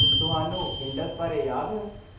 ਤੁਹਾਨੂੰ ਇੰਡਸ ਬਾਰੇ ਯਾਦ ਹੈ?